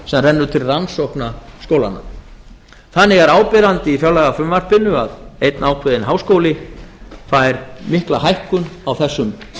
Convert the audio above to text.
sem rennur til rannsókna skólanna þannig er áberandi í fjárlagafrumvarpinu að einn ákveðinn háskóli fær mikla hækkun á þessum